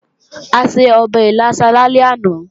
A se ọbẹ̀ ìlàsà lálẹ́ àná